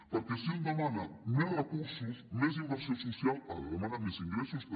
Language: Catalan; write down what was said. perquè si un demana més recursos més inversió social ha de demanar més ingressos també